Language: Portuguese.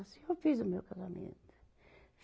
Assim eu fiz o meu casamento.